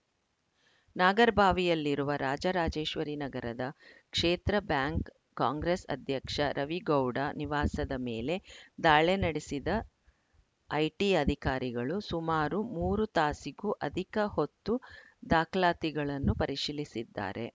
ನಾಗರಬಾವಿಯಲ್ಲಿರುವ ರಾಜರಾಜೇಶ್ವರಿ ನಗರದ ಕ್ಷೇತ್ರ bank Congress ಅಧ್ಯಕ್ಷ ರವಿ ಗೌಡ ನಿವಾಸದ ಮೇಲೆ ದಾಳಿ ನಡೆಸಿದ ಐಟಿ ಅಧಿಕಾರಿಗಳು ಸುಮಾರು ಮೂರು ತಾಸಿಗೂ ಅಧಿಕ ಹೊತ್ತು ದಾಖಲಾತಿಗಳನ್ನು ಪರಿಶೀಲಿಸಿದ್ದಾರೆ